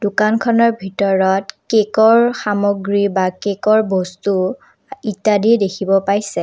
দোকানখনৰ ভিতৰত কেকৰ সামগ্ৰী বা কেকৰ বস্তু ইত্যাদি দেখিব পাইছে।